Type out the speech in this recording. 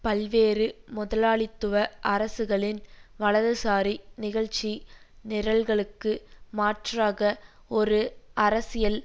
பல்வேறு முதலாளித்துவ அரசுகளின் வலதுசாரி நிகழ்ச்சி நிரல்களுக்கு மாற்றாக ஒரு அரசியல்